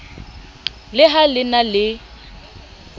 le ha le ne le